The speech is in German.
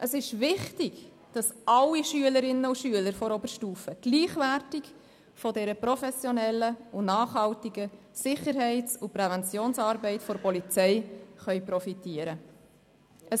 Es ist wichtig, dass alle Schülerinnen und Schüler der Oberstufe gleichwertig von dieser professionellen und nachhaltigen Sicherheits- und Präventionsarbeit der Polizei profitieren können.